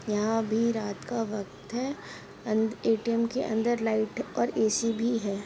यहाँ अभी रात का वक्त है एटीएम के अंदर लाइट और एसी भी है।